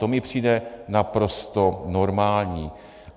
To mi přijde naprosto normální.